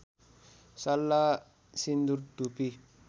सल्ला सिन्दूर धुपी